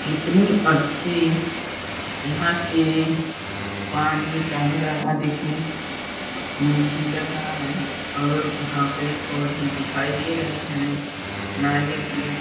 इतनी अच्छी यहाँ की पानी का नज़रा देखने को लग रहा है और यहाँ पेड़-पौधे दिखाई दे रहे है नारियल के --